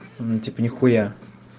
типа нихуя